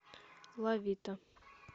лавита